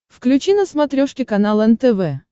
включи на смотрешке канал нтв